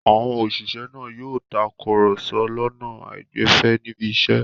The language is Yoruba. Àwọn òṣìṣẹ́ náà yóò takùrọ̀sọ lọ́nà àìgbẹ̀fẹ̀ níbi iṣẹ́.